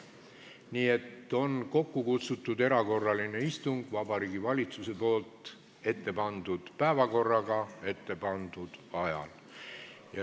Nii et on kokku kutsutud erakorraline istung Vabariigi Valitsuse ettepandud päevakorraga ja ettepandud ajal.